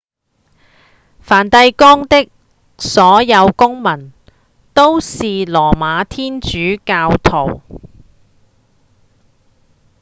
梵蒂岡的所有公民都是羅馬天主教徒